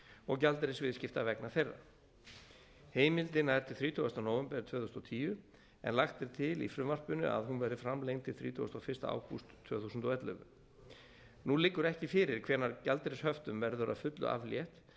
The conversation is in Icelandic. og gjaldeyrisviðskipta vegna þeirra heimildin nær til þrítugasta nóvember tvö þúsund og tíu en lagt er til í frumvarpinu að hún verði framlengd til þrítugasta og fyrsta ágúst tvö þúsund og ellefu nú liggur ekki fyrir hvenær gjaldeyrishöftum verður að fullu aflétt